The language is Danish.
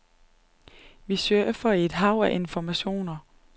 Vi surfer i et hav af informationer.